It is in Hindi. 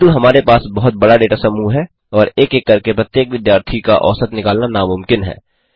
किन्तु हमारे पास बहुत बड़ा डेटा समूह है और एक एक करके प्रत्येक विद्यार्थी का औसत निकालना नामुमकिन है